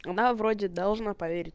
она вроде должна поверить